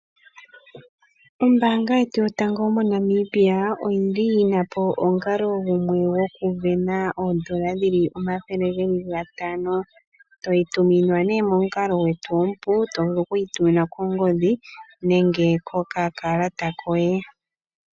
Ombanga yetu yotango moNamibia oyili yina po omukalo gumwe goku vena oodollar dhili omathele gatano. Toyi tuminwa nee momukalo gwetu omupu, to vulu okuyi tuminwa kongodhi nenge kokakalata koye.